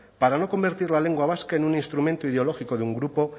para no convertir la lengua vasca en un instrumento ideológico de un grupo